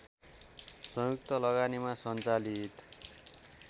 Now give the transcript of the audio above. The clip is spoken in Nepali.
संयुक्त लगानीमा सञ्चालित